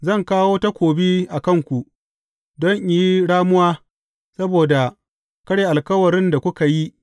Zan kawo takobi a kanku don in yi ramuwa saboda karya alkawarin da kuka yi.